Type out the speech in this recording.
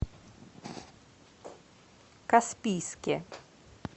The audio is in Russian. каспийске